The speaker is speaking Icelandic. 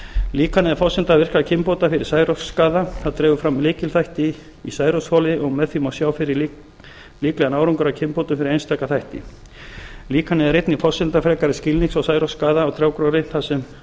líkanið er forsenda virkra kynbóta fyrir særoksskaða það dregur fram lykilþætti í særoksþoli og með því má sjá fyrir líklegan árangur af kynbótum fyrir einstaka þætti líkanið er einnig forsenda frekari skilnings á særoksskaða á trjágróðri þar sem